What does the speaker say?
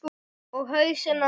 Og hausinn á manni.